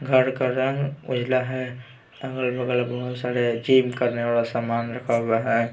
घर का रंग उजला है अगल बगल बहुत सारे जिम करने वाला सामान रखा हुआ है .